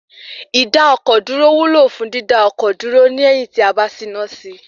Ìdá-ọkọ̀-dúró wúlò fún dídá ọkọ̀ dúró lẹyìn tí a bá ti ṣìnà sí I.